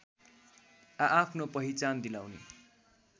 आआफ्नो पहिचान दिलाउने